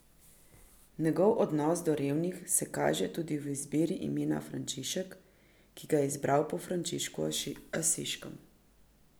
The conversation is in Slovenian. Njegov odnos do revnih se kaže tudi v izbiri imena Frančišek, ki ga je izbral po Frančišku Asiškem.